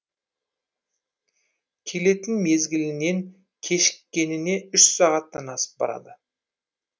келетін мезгілінен кешіккеніне үш сағаттан асып барады